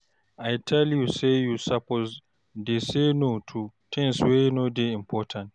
I tell you say you suppose dey say no to tins wey no dey important.